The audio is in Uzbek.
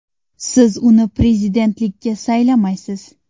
Siz uni prezidentlikka saylamaysiz.